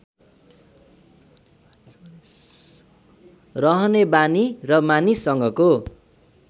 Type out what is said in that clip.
रहने बानी र मानिससँगको